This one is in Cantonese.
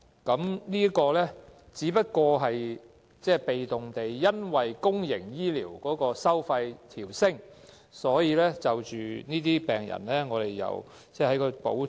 這個只是被動地因應公營醫療收費的調整，而向這些病人調升補貼。